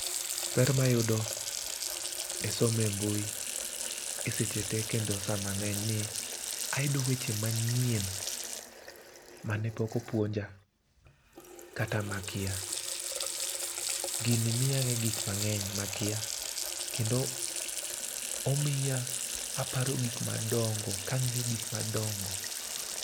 ber mayudo e somo e mbui e seche tee kendo saa mang'eny en ni ayudo weche mang'eny mane pok opuonja kata makia. Gini mi ang'e gik mang'eny makia kendo omiya aparo gik madongo kang'iyo gik madongo.